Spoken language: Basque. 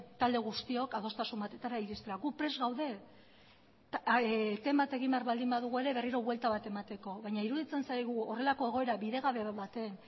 talde guztiok adostasun batetara iristera gu prest gaude eten bat egin behar badugu ere berriro buelta bat emateko baina iruditzen zaigu horrelako egoera bidegabe baten